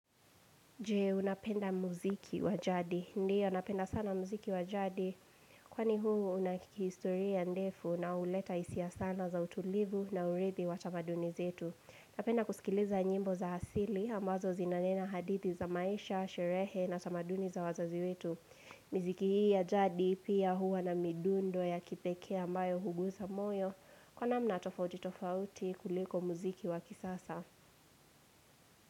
Je, unapenda muziki wa jadi. Ndiyo, napenda sana muziki wa jadi. Kwani huu unakihistoria ndefu na huleta hisia sana za utulivu na uridhi wa tamaduni zetu. Napenda kusikiliza nyimbo za hasili, ambazo zinanena hadithi za maisha, sherehe na tamaduni za wazazi wetu. Miziki hii ya jadi, pia hua na midundo ya kipekee ambayo huguza moyo. Kwa namna tofauti tofauti kuliko muziki wa kisasa.